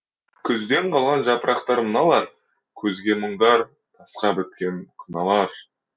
күзден қалған жапырақтар мыналар көзге мұңдар тасқа біткен қыналар